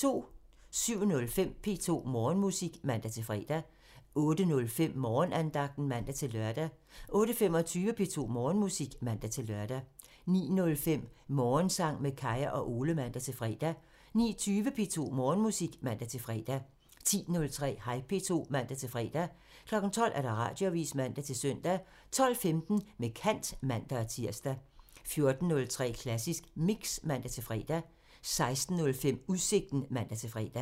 07:05: P2 Morgenmusik (man-fre) 08:05: Morgenandagten (man-lør) 08:25: P2 Morgenmusik (man-lør) 09:05: Morgensang med Kaya og Ole (man-fre) 09:20: P2 Morgenmusik (man-fre) 10:03: Hej P2 (man-fre) 12:00: Radioavisen (man-søn) 12:15: Med kant (man-tir) 14:03: Klassisk Mix (man-fre) 16:05: Udsigten (man-fre)